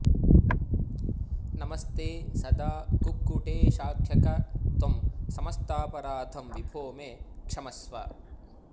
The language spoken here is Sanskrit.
नमस्ते सदा कुक्कुटेशाख्यक त्वं समस्तापराधं विभो मे क्षमस्व